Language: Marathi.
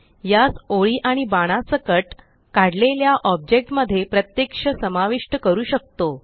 यास ओळी आणि बाणा सकट काढलेल्या ऑब्जेक्ट मध्ये प्रत्यक्ष समाविष्ट करू शकतो